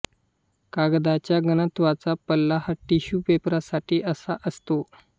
कागदाच्या घनत्वाचा पल्ला हा टिश्यू पेपरसाठी असा असतो